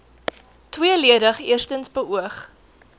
tweeledig eerstens beoog